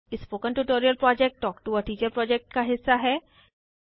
spoken tutorial project talk to a teacher project का हिस्सा है